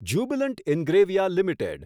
Jubilant Ingrevia limited